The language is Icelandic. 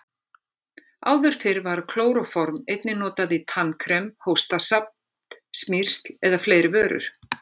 Áður fyrr var klóróform einnig notað í tannkrem, hóstasaft, smyrsl og fleiri vörur.